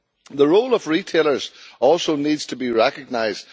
The role of retailers also needs to be recognised.